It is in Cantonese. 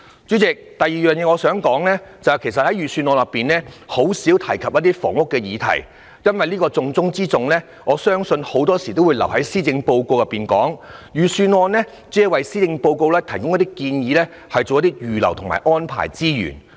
主席，我想指出的第二點是，財政預算案甚少提到房屋議題，因為這個重中之重的議題，很多時候也會留待施政報告講述，而預算案只是為施政報告提供建議，以及預留及安排資源。